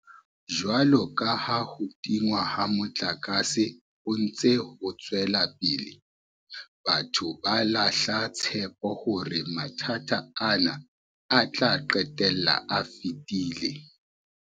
Jwalo ka ha ho tingwa ha motlakase ho ntse ho tswela pele, batho ba lahla tshepo hore mathata ana a tla qetella a fedile.